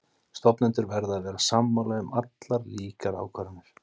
Stofnendur verða að vera sammála um allar líkar ákvarðanir.